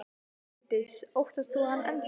Bryndís: Óttast þú hann enn þá?